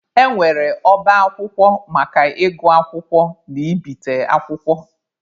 E nwere ọba akwụkwọ maka ịgụ akwụkwọ na ibite akwụkwọ.